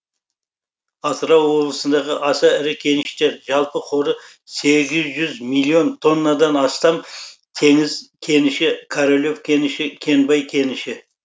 атырау облысындағы аса ірі кеніштер жалпы қоры сегіз жүз миллион тоннадан астам теңіз кеніші королев кеніші кенбай кеніші